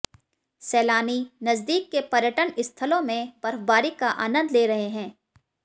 सैलानी नजदीक के पर्यटन स्थलों में बर्फ़बारी का आनंद ले रहे हैं